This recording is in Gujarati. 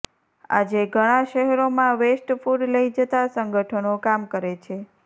આજે ઘણાં શહેરોમાં વેસ્ટ ફૂડ લઈ જતાં સંગઠનો કામ કરે છે